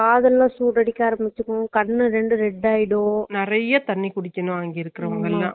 problem வந்துச்சு அஹ் பாத்தியா அதன் தண்ணி நறைய குடிச்சுக்கானும்ஆமா